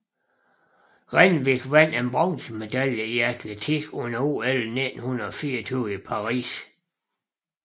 Renwick vandt en bronzemedalje i atletik under OL 1924 i Paris